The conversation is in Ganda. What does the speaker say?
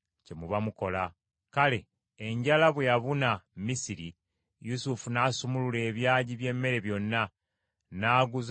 Kale enjala bwe yabuna Misiri, Yusufu n’asumulula ebyagi by’emmere byonna; n’aguza Abamisiri emmere.